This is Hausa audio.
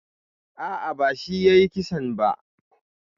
A'a, bashi yayi kissan ba.